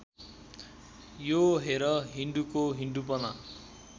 यो हेर हिन्दूको हिन्दूपना